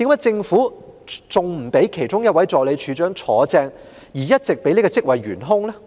政府為何仍然不擢升其中一位助理處長接任，反而一直任由這職位懸空？